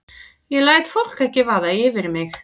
Ég læt fólk ekki vaða yfir mig.